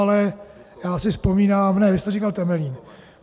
Ale já si vzpomínám - ne, vy jste říkal Temelín.